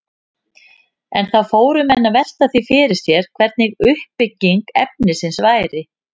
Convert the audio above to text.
En þá fóru menn að velta því fyrir sér hvernig uppbygging efnisins væri.